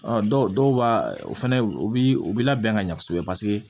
Ɔ dɔw dɔw b'a o fɛnɛ u bi u bi labɛn ka ɲɛ kosɛbɛ paseke